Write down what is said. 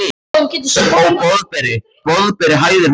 Ó, Boðberi, Boðberi hæðir hún hann.